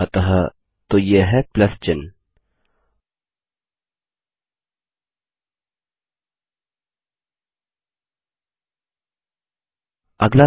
अतः तो यह है प्लस चिह्न